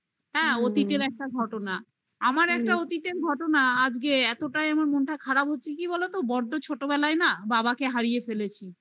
হ্যাঁ, অতীতের একটা ঘটনা আমার একটা অতীতের ঘটনা আজকে এতটাই আমার মনটা খারাপ কি বলতো বড্ড ছোটবেলায় না বাবাকে হারিয়ে ফেলেছি